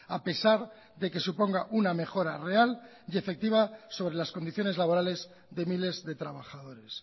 a pesar de que suponga una mejora real y efectiva sobre las condiciones laborales de miles de trabajadores